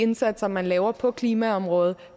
indsatser man laver på klimaområdet